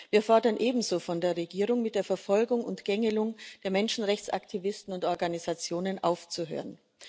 Wir fordern ebenso von der Regierung, mit der Verfolgung und Gängelung der Menschenrechtsaktivisten und Organisationen aufzuhören.